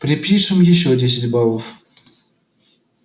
припишем ещё десять баллов